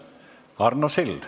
Arno Sild.